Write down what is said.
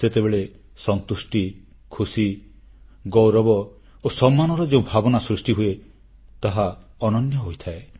ସେତେବେଳେ ସନ୍ତୁଷ୍ଟି ଖୁସି ଗୌରବ ଓ ସମ୍ମାନର ଯେଉଁ ଭାବନା ସୃଷ୍ଟିହୁଏ ତାହା ଅନନ୍ୟ ହୋଇଥାଏ